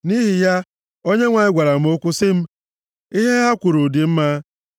Nʼihi ya, Onyenwe anyị gwara m okwu sị m, “Ihe ha kwuru dị mma.